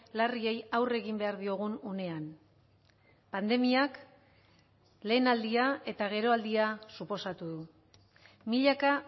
larriei aurre egin behar diogun unean pandemiak lehenaldia eta geroaldia suposatu du milaka